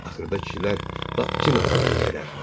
Axırda kişilər lap kin atına mindilər.